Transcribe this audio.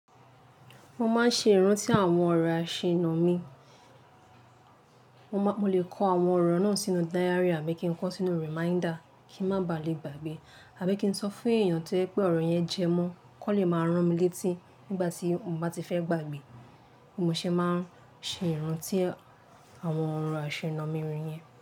Mo máa ń ṣe ìrántí àwọn ọ̀rọ̀ aṣẹ́nà mi, mo lè kọ àwọn ọ̀rọ̀ náà sínú diary àbí kí n kọ sínú reminder kí n má baà lè gbàgbé, àbí kí n sọ fún èèyàn pé ọ̀rọ̀ yẹn jẹ mọ́ kó lè máa rán mi létí nígbà tí mo bá ti fẹ́ gbàgbé. Ó ṣe é máa ń ṣe ìrántí àwọn ọ̀rọ̀ aṣẹ́nà mi yẹn.